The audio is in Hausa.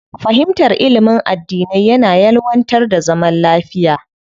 Fahimtar ilimin addinai yana ƴelwantar da zaman lafiya.